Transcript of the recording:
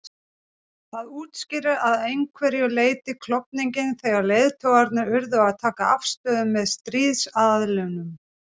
Það útskýrir að einhverju leyti klofninginn þegar leiðtogarnir urðu að taka afstöðu með stríðsaðilum.